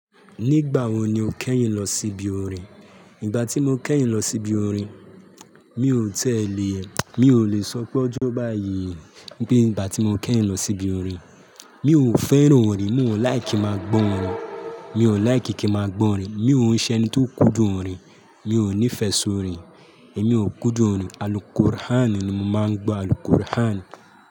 Nígbà wo ni o kẹ́yìn lọ síbi orin? Nígbà tí mo kẹ́yìn lọ síbi orin, mi ò tiẹ́lẹ̀, mi ò lè sọ pé ọjọ́ báyìí, i pé ígbà tí mo kẹ́yìn lọ síbi orin. Mi ò fẹ́ràn orin, mi ò like kí máa gbọ́ orin, mi ò like kí máa gbọ́ orin. Mi ò ń ṣe ẹni tó ń kúndùn orin, mi ò nífẹ̀ẹ́ sórin, èmi ò kúndùn orin. Alùkùr'án ni mo máa ń gbọ́, alùkùri'án.